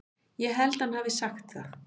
Ég held hann hafi sagt það.